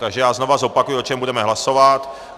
Takže já znovu zopakuji, o čem budeme hlasovat.